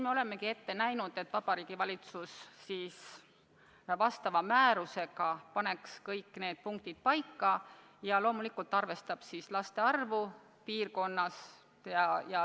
Me oleme ette näinud, et Vabariigi Valitsus paneb määrusega kõik need punktid paika ja loomulikult arvestab siis laste arvu piirkonnas.